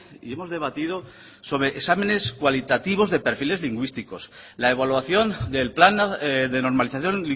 y hemos debatido sobre exámenes cualitativos de perfiles lingüísticos la evaluación del plan de normalización